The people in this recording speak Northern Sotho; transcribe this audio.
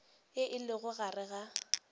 ye e lego gare ga